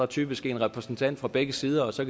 typisk en repræsentant for begge sider og så